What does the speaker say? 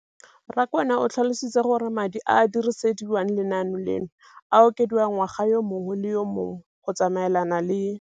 Rakwena o tlhalositse gore madi a a dirisediwang lenaane leno a okediwa ngwaga yo mongwe le yo mongwe go tsamaelana le.